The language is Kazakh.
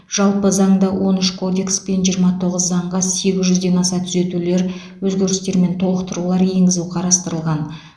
жалпы заңда он үш кодекс пен жиырма тоғыз заңға сегіз жүзден аса түзетулер өзгерістер мен толықтырулар енгізу қарастырылған